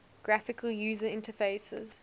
graphical user interfaces